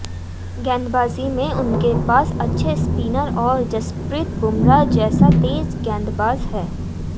गेंदबाजी में उनके पास अच्छे स्पिनर और जसप्रीत बुमराह जैसा तेज गेंदबाज है